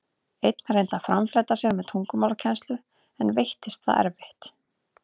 Einn reyndi að framfleyta sér með tungumálakennslu, en veittist það erfitt.